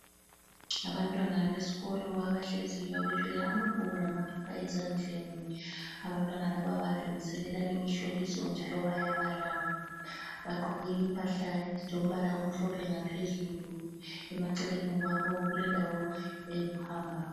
Abantwana besikolo abahleziyo bethwele amabhuku lamaphepha ezandleni. Abantwana laba balungiselela imihloliso njalo bayabala. Bagqoki impahla ezilombala omhlophe ngaphezulu. Emaceleni kwabo kulendawo eyokuhamba.